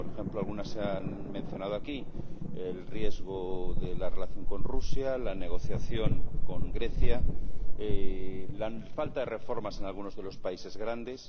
Por ejemplo, algunas se han mencionado aquí el riesgo de la relación con Rusia, la negociación con Grecia, la falta de reformas en algunos de los países grandes.